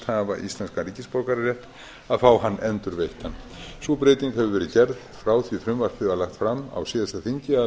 hafa íslenskan ríkisborgararétt að fá hann endurveittan sú breyting hefur verið gerð frá því að frumvarpið var lagt fram á síðasta þingi að lagt